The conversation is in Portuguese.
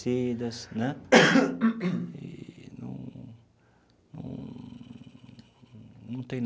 né e num num num tem.